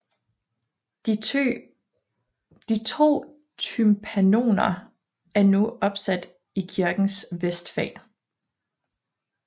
De to tympanoner er nu opsat i kirkens vestfag